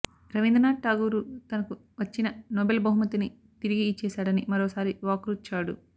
రవీంద్ర నాథ్ ఠాగూరు తనకు వచ్చిన నోబెల్ బహుమతిని తిరిగి యిచ్చేశాడని మరోసారి వాక్రుచ్చాడు